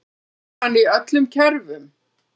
Virkar hann í öllum kerfum?